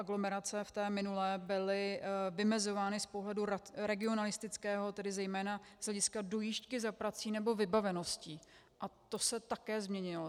Aglomerace v té minulé byly vymezovány z pohledu regionalistického, tedy zejména z hlediska dojížďky za prací nebo vybavenosti, a to se také změnilo.